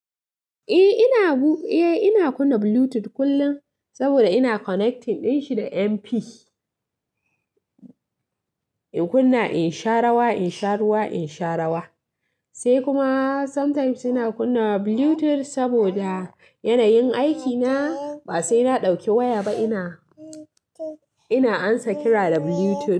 Eh ina, eh ina kunna Bluetooth kullum saboda ina connecting din shi da MP. In kunna in sha rawa, in sha ruwa, in sha rawa. Sai kuma sometimes ina kunna Bluetooth saboda yanayin aikina ba sai na ɗauki waya ba ina, ina amsa kira da Bluetooth.